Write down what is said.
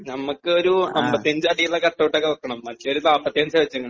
നമ്മക്ക് ഒരു അമ്പത്തി അഞ്ച് അടിയുള്ള കട്ട് ഔട്ട് ഒക്കെ വെക്കണം മറ്റെ അവര് നാപ്പത്തി അഞ്ചാ വെച്ചേക്കണെ